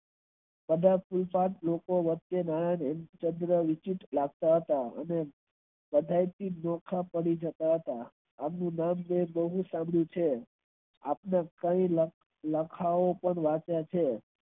કદાચ લોકો વચ્ચે વિચિત લગતા હતા મળી સકતા હતા આત્મ કથા વચ્ચે છે.